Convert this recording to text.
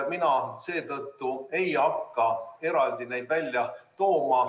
Mina seetõttu ei hakka eraldi neid välja tooma.